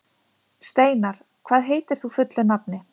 Steinar, hvað heitir þú fullu nafni?